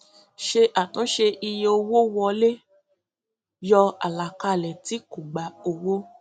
ṣe àtúnṣe iye owó wọlé yọ àlàkalẹ tí kò gbà owó